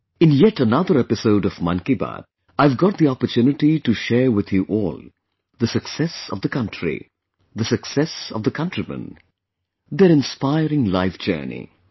In yet another episode of 'Mann Ki Baat', I have got the opportunity to share with you all, the success of the country, the success of the countrymen; their inspiring life journey